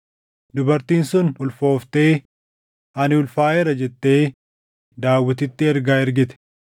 Dubartiin sun ulfooftee, “Ani ulfaaʼeera” jettee Daawititti ergaa ergite.